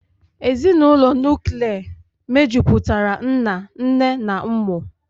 Ezinụlọ nuklia mejupụtara nna, nne na ụmụ